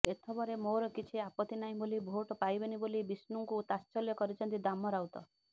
ଏଥବରେ ମୋର କିଛି ଆପତ୍ତି ନାହିଁ ହେଲେ ଭୋଟ୍ ପାଇବେନି ବୋଲି ବିଷ୍ଣୁଙ୍କୁ ତାତ୍ସଲ୍ୟ କରିଛନ୍ତି ଦାମ ରାଉତ